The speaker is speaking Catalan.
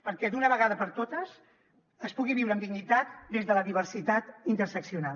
perquè d’una vegada per totes es pugui viure amb dignitat des de la diversitat interseccional